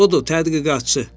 Budur tədqiqatçı.